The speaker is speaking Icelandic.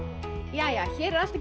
jæja hér er allt